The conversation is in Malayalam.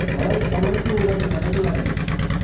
അവിടെ നമ്മളിവിടെ ചൂടൊക്കെയല്ലേ നല്ല ചൂടാല്ലേ